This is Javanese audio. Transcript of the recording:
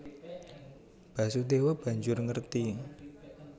Basudèwa banjur ngerti